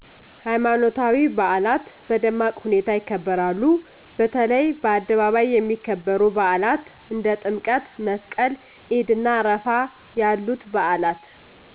ሀይማኖታዊ በአላት በደማቅ ሁኔታ ይከበራሉ በተለይ በአደባባይ የሚከበሩ በአላት እንደ ጥምቀት/መስቀል /ኢድእና አረፋ ያሉት በአላት